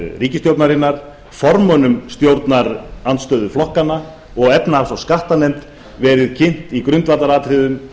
ríkisstjórnarinnar formönnum stjórnarandstöðuflokkanna og efnahags og skattanefnd verið kynnt í grundvallaratriðum